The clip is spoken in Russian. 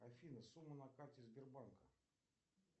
афина сумма на карте сбербанка